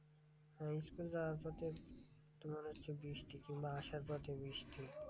হ্যাঁ school যাওয়ার পথে তোমার হচ্ছে বৃষ্টি কিংবা আসার পথে বৃষ্টি,